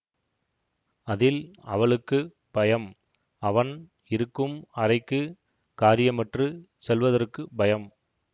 அதில் அவளுக்கு பயம் அவன் இருக்கும் அறைக்குக் காரியமற்றுச் செல்வதற்கு பயம்